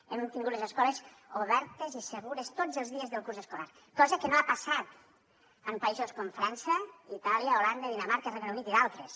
hem tingut les escoles obertes i segures tots els dies del curs escolar cosa que no ha passat en països com frança itàlia holanda dinamarca regne unit i d’altres